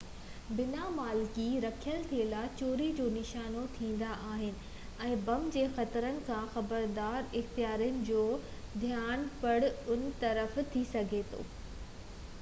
بنا مالڪي رکيل ٿيلها چوري جو نشانو ٿيندا آهن ۽ بم جي خطرن کان خبردار اختيارين جوڌيان پڻ ان طرف ٿي سگهي ٿو